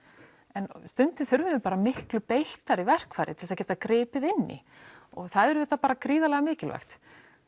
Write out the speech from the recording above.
en stundum þurfum við miklu beittari verkfæri til að geta gripið inn í og það er auðvitað gríðarlega mikilvægt